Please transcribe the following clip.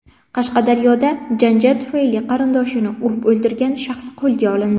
Qashqadaryoda janjal tufayli qarindoshini urib o‘ldirgan shaxs qo‘lga olindi.